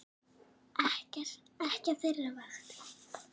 Ekki á þeirra vakt.